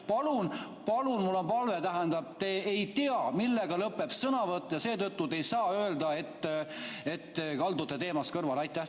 Palun, palun, mul on palve, te ei tea, millega lõpeb sõnavõtt, ja seetõttu ei saa te öelda, et kaldutakse teemast kõrvale.